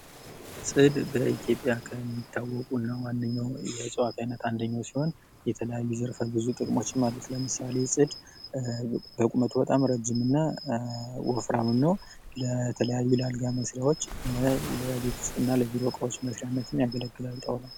ፅድ በኢትዮጵያ ከሚታወቁ እና ዋንኛው የእፅዋት አይነት አንደኛው ሲሆን የተለያዩ ዘርፌ ብዙ ጥቅሞችም አሉት ለምሳሌ ፅድ በቁመቱ በጣም እረጅም እና ወፍራምም ነው ለተለያዩ ለአልጋ መስሪያዎች ለቤት ዉስጥ እና ለቢሮ ዕቃ መስሪያነትም ያገለግላል ጣውላው::